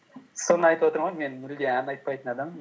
соны айтып отырмын ғой мен мүлде ән айтпайтын адаммын